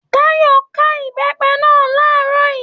Táyọ̀ ká Ìbẹ́pẹ́ náà làárọ̀ yìí.